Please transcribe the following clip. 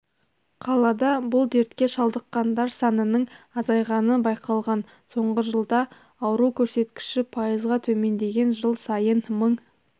қалада бұл дертке шалдыққандар санының азайғаны байқалған соңғы жылда ауру көрсеткіші пайызға төмендеген жыл сайын мың